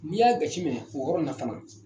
N'i y'a gasi minɛ o in na fana